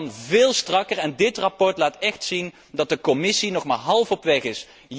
Het kan veel strakker en dit verslag laat echt zien dat de Commissie nog maar halverwege